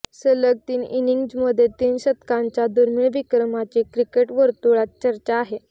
सलग तीन इनिंग्जमध्ये तीन शतकांच्या दुर्मिळ विक्रमाची क्रिकेटवर्तुळात चर्चा आहे